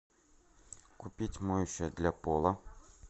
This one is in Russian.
купить моющее для пола